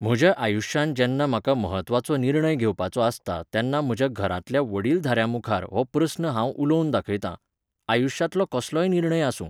म्हज्या आयुश्यांत जेन्ना म्हाका महत्वाचो निर्णय घेवपाचो आसता तेन्ना म्हज्या घरांतल्या वडीलधाऱ्यांमुखार हो प्रस्न हांव उलोवन दाखयतां. आयुश्यांतलो कसलोय निर्णय आसूं